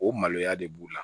O maloya de b'u la